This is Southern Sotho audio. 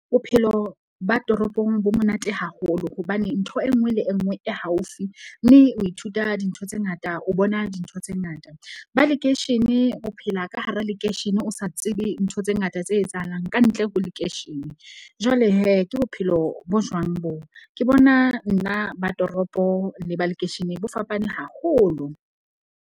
Bophelo ba toropong bo monate haholo hobane ntho e nngwe le e nngwe e haufi. Mme o ithuta dintho tse ngata, o bona dintho tse ngata. Ba lekeishene o phela ka hara lekeishene, o sa tsebe ntho tse ngata tse etsahalang kantle ho lekeishene. Jwale ke bophelo bo jwang bo? Ke bona nna ba toropo le ba lekeisheneng bo fapane haholo.